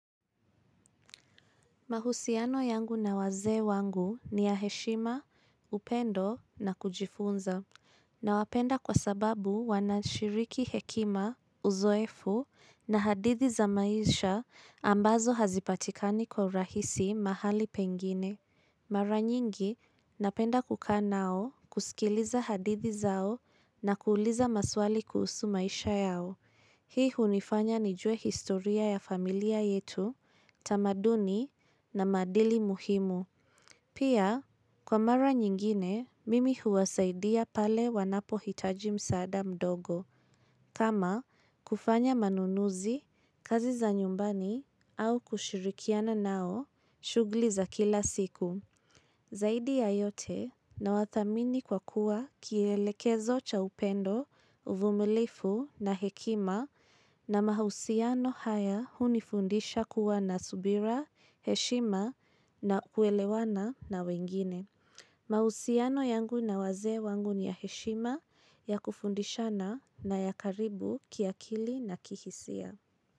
Mahusiano yangu na wazee wangu ni ya heshima, upendo na kujifunza. Nawapenda kwa sababu wanashiriki hekima, uzoefu na hadithi za maisha ambazo hazipatikani kwa rahisi mahali pengine. Mara nyingi, napenda kukaa nao, kusikiliza hadithi zao na kuuliza maswali kuhusu maisha yao. Hii hunifanya nijue historia ya familia yetu, tamaduni na maadili muhimu. Pia, kwa mara nyingine, mimi huwasaidia pale wanapohitaji msaada mdogo. Kama, kufanya manunuzi, kazi za nyumbani au kushirikiana nao shugli za kila siku. Zaidi ya yote na wathamini kwa kuwa kielekezo cha upendo, uvumilifu na hekima na mahusiano haya huu unifundisha kuwa na subira, heshima na kuelewana na wengine. Mahusiano yangu na wazee wangu ni ya heshima ya kufundishana na ya karibu kiakili na kihisia.